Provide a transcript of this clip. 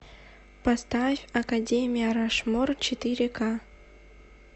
поставь академия рашмор четыре ка